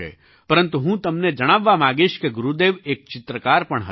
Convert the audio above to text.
પરંતુ હું તમને જણાવવા માગીશ કે ગુરુદેવ એક ચિત્રકાર પણ હતા